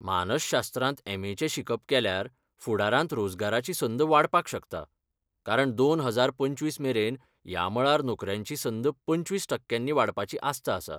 मानसशास्त्रांत एम.ए. चें शिकप केल्यार फुडारांत रोजगाराची संद वाडपाक शकता, कारण दोन हजार पंचवीस मेरेन ह्या मळार नोकऱ्यांची संद पंचवीस टक्क्यांनी वाडपाची आस्त आसा.